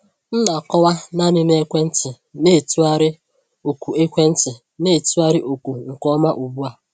M na-akọwa naanị na ekwentị na-etụgharị ọkụ ekwentị na-etụgharị ọkụ nke ọma ugbu a.